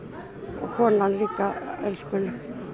og konan líka elskuleg